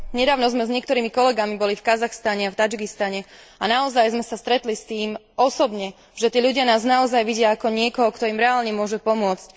Nedávno sme s niektorými kolegami boli v Kazachstane a v Tadžikistane, a naozaj sme sa stretli s tým osobne, že tí ľudia nás naozaj vidia ako niekoho, kto im reálne môže pomôcť.